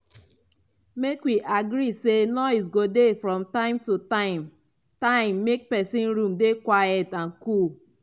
make wi agree say noise go dey from this time to time time make pesin room dey quiet and cool.